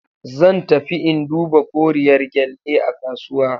Zan tafi in duba koriyar gyalle a kasuwa.